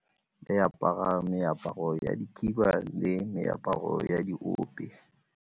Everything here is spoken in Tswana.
Re apara meaparo ya dikhiba le meaparo ya diope.